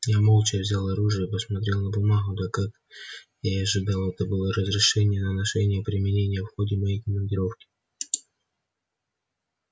я молча взял оружие посмотрел на бумагу да как я и ожидал это было разрешение на ношение и применение в ходе моей командировки